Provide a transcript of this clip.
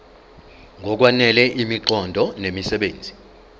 ngokwanele imiqondo nemisebenzi